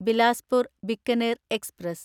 Bilaspur Bikaner express